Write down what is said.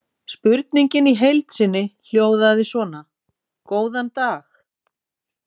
Spurningin í heild sinni hljóðaði svona: Góðan dag.